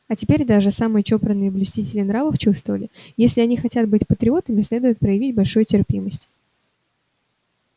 а теперь даже самые чопорные блюстители нравов чувствовали если они хотят быть патриотами следует проявить большую терпимость